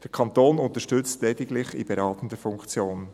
Der Kanton unterstützt lediglich in beratender Funktion.